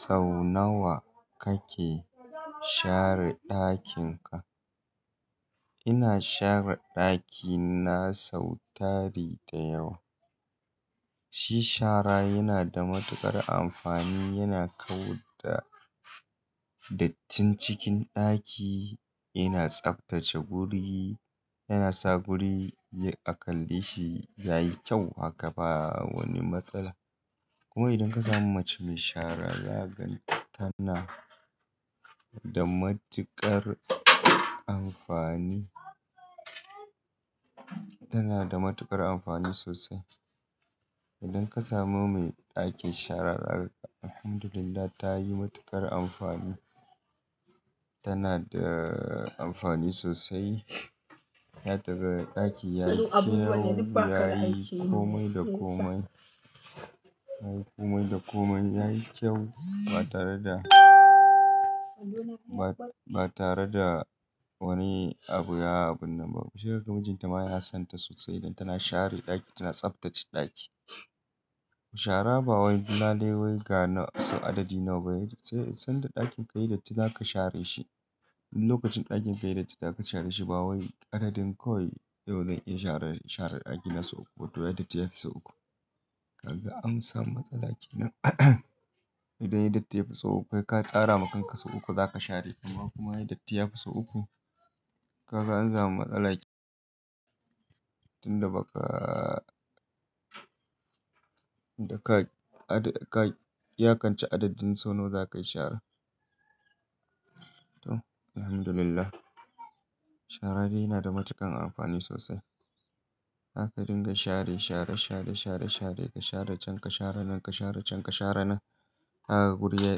Sau nawa kake share ɗakin ka? Ina share ɗakina sau tari da yawa. Shi shara yana da matuƙar amfani, yana kawu da dattin cikin ɗaki, yana tsaftace guri, yana sa guri a kalle shi yayi kyau. Haka ba wani matsala. Kuma idan ka samu mace mai shara, zaganta tana da matuƙar amfani, tana da matuƙar amfani sosai. Idan ka samu mai ɗakin shara, zaganta Alhamdulillah ta yi matuƙar amfani. Tana da amfani sosai. Yana tsagare ɗaki, yayi kyau, yayi komai da komai, yayi komai da komai, yayi kyau ba tare da, ba tare da wani abu ya abin nan ba. Mushin mijinta ma yana sonta sosai idan tana share ɗaki, tana tsaftace ɗaki. Shara ba wai duna leiwa ga sau adadi nawa ba. Sai sanda ɗakin ka yi datti za ka share shi. Lokacin ɗakin ka yi datti za ka share shi ba wai adadin kawai yau zan iya share, share ɗaki na sau uku, wato ya datti ya fi sau uku. Kaga an samu matsala kenan. Idan ya datti ya fi sau uku, kai ka tsara ma kanka sau uku za ka share kuma kuma ya datti ya fi sau uku. Kaga an samu matsala kenan. Tin da ba ka, da ka, ka yakance adadin sau nawa za ka yi shara. To, Alhamdulillah. Shara dai yana da matuƙan amfani sosai. Haka dinga share, share, share, share, share, ka share can, ka share nan, ka share can, ka share nan. Haka guri yayi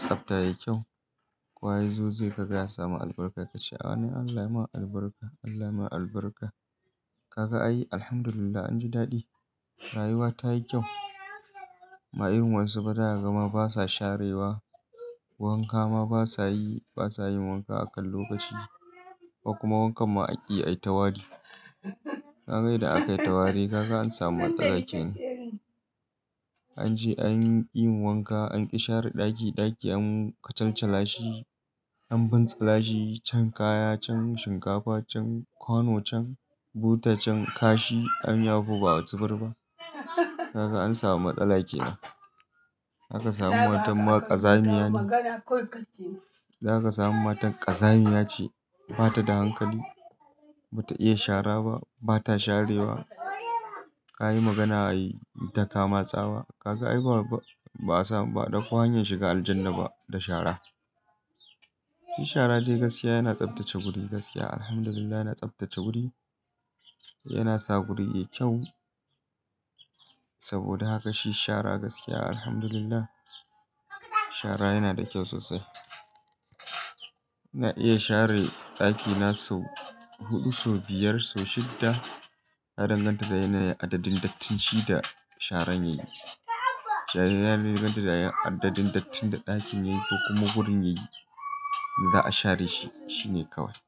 tsabta, yayi kyau. Kowa yazo zai ka ga ya samu albarka ka ce "Allah ya ma albarka, Allah ya ma albarka." Kaga ayi Alhamdulillah, anji daɗi. Rayuwa ta yi kyau. Ma ayun wasu ba daya gama basa sharewa. Wanka ma basa yi, basa yin wanka akan lokaci. Kuma wankan ma akiyi ai tawadi. Ka ga yanda aka yi tawadi. Kaga an samu matsala kenan. An ji, an yi wanka, an ƙi share ɗaki, ɗaki an kacalcalashi, an bantsalashi, chan kaya, chan shinkafa, chan kwano, chan buta, chan kashi. An yafo ba a zubar ba. Kaga an samu matsala kenan. Haka samun matar ma ƙazamiya ce. Za ka sami matar ƙazamiya ce, ba ta da hankali. Ba ta iya shara ba, ba ta sharewa. Ka yi magana a yi takama tsawa. Kaga ayi ba, ba a samu ba da ko hanyar shiga Aljannah ba da shara. Shi shara dai gaskiya yana tsaftace guri. Gaskiya Alhamdulillah yana tsaftace guri. Yana sa guri yayi kyau. Saboda haka shi shara gaskiya Alhamdulillah shara yana da kyau sosai. Na iya share ɗakina sau huɗu, sau biyar, sau shidda. Ya danganta da yanayin adadin dattin shi da sharan yayi. Yana danganta da adadin dattin da ɗakin yayi ko kuma gurin yayi da za a share shi, shi ne kawai.